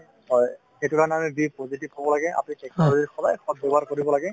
হয় এইটোৰ কাৰণে আমি positive হ'ব লাগে আপুনি technology ৰ সদায় সৎ ব্যৱহাৰ কৰিব লাগে